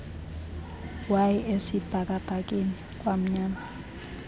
wayi esibhakabhakeni kwamnyama